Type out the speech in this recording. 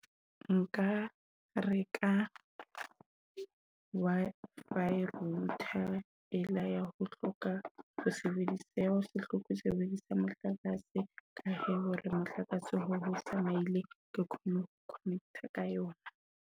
Nka reka Wi-fi rouuter ela ya ho hloka ho sebedisa, ya ho se hloke ho sebedisa motlakase. Ka hore motlakase he o tsamaile ke kgone ho connect-a ka yona.